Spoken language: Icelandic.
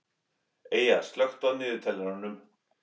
Eyja, slökktu á niðurteljaranum.